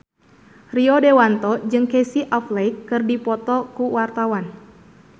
Rio Dewanto jeung Casey Affleck keur dipoto ku wartawan